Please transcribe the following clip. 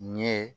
Nin ye